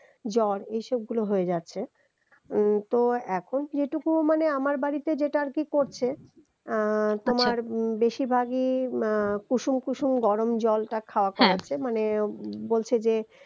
জ্বর হয়ে যাচ্ছে উম তো এখন যেটুকু মানে আমার বাড়িতে যেটা আরকি করছে আহ তোমার আচ্ছা উম বেশির ভাগই আহ কুসুম কুসুম গরম জলটা হ্যা খাওয়ানো হচ্ছে মানে বলছে যে